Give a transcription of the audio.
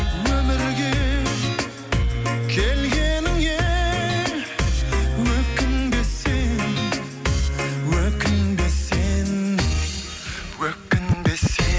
өмірге келгеніңе өкінбе сен өкінбе сен өкінбе сен